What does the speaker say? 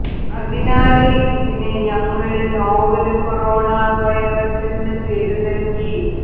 അതിനാല് ഇതിന് ഞങ്ങള് നോവല് കൊറോണ വൈറസ് എന്ന് പേര് നല്കി